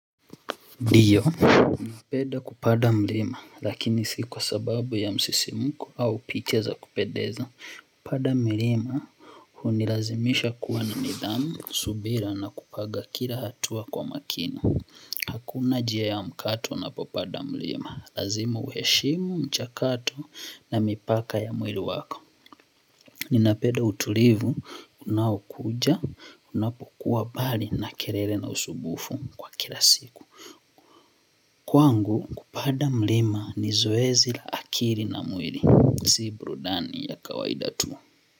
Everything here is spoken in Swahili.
Diyo, unapenda kupada mlima, lakini si kwa sababu ya msisimuko au picha za kupendeza. Kupada milima, hunilazimisha kuwa na nidhamu, subira na kupaga kila hatua kwa makini. Hakuna jia ya mkato unapopanda mlima lazima hueshimu mchakato na mipaka ya mwili wako. Ninapeda utulivu, unaokuja, unapokuwa bali na kelele na usubufu kwa kila siku. Kwangu kupada mlima ni zoezi la akiri na mwiri. Si burudani ya kawaida tu.